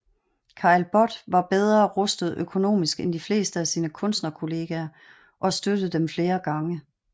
Caillebotte var bedre rustet økonomisk end de fleste af sine kunstnerkolleger og støttede dem flere gange